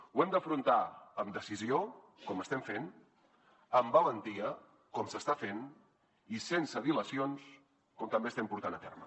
ho hem d’afrontar amb decisió com ho estem fent amb valentia com s’està fent i sense dilacions com també ho estem portant a terme